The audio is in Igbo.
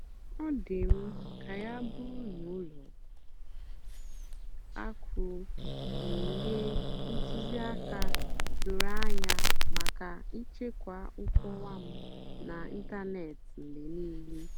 ọ́ dì́ m kà yá bụ́rụ́ nà ùlọ àkụ́ gà-ènyé ntùzìákà dòró ànyá màkà íchèkwá nkọ́wá m n'ị́ntánètị́ mgbe níìlé.